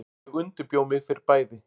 Ég undirbjó mig fyrir bæði.